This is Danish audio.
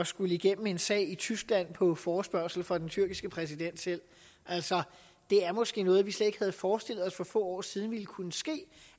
skulle igennem en sag i tyskland på forespørgsel fra den tyrkiske præsident selv det er måske noget vi slet ikke havde forestillet os for få år siden ville kunne ske